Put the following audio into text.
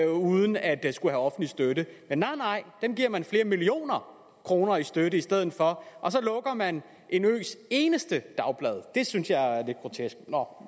uden at skulle have offentlig støtte men nej nej dem giver man flere millioner kroner i støtte i stedet for og så lukker man en øs eneste dagblad det synes jeg er lidt grotesk nå